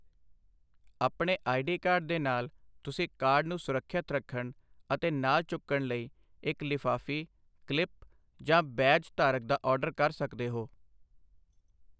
ਆਪਣੇ I. D. Card ਦੇ ਨਾਲ, ਤੁਸੀਂ ਕਾਰਡ ਨੂੰ ਸੁਰੱਖਿਅਤ ਰੱਖਣ ਅਤੇ ਨਾਲ ਚੁੱਕਣ ਲਈ ਇੱਕ ਲਿਫਾਫ਼ੀ, ਕਲਿੱਪ, ਜਾਂ ਬੈਜ ਧਾਰਕ ਦਾ ਆਰਡਰ ਦੇ ਸਕਦੇ ਹੋ।